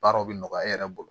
Baaraw bɛ nɔgɔya e yɛrɛ bolo